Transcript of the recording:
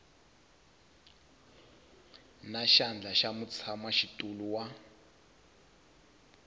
na xandla xa mutshamaxitulu wa